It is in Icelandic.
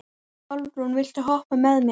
Álfrún, viltu hoppa með mér?